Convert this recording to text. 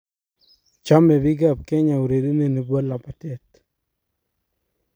Choemi biik ab kenya ureria ne bo labatee.